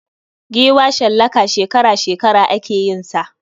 Giwa shallaka shekara -shekara ake yin sa.